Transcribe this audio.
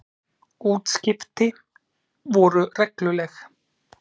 Útskipti voru regluleg.